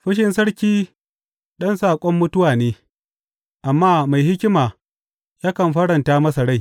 Fushin sarki ɗan saƙon mutuwa ne, amma mai hikima yakan faranta masa rai.